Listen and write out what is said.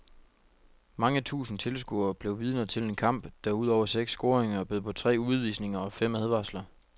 Mange tusind tilskuere blev vidner til en kamp, der ud over seks scoringer bød på tre udvisninger og fem advarsler.